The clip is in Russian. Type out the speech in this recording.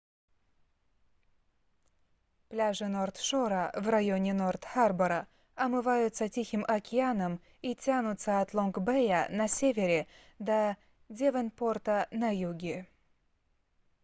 пляжи норт-шора в районе норт-харбора омываются тихим океаном и тянутся от лонг-бэя на севере до девонпорта на юге